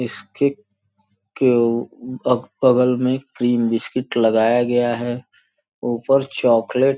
इसके के बगल में क्रीम बिस्किट लगाया गया है ऊपर चॉकलेट।